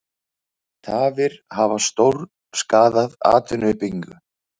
Tafir hafa stórskaðað atvinnuuppbyggingu